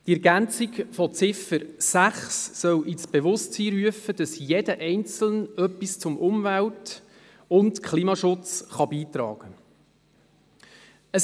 Die Ergänzung der Ziffer 6 soll ins Bewusstsein rufen, dass jeder Einzelne etwas zum Umwelt- und Klimaschutz beitragen kann.